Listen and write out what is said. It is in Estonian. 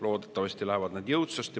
Loodetavasti lähevad need jõudsasti.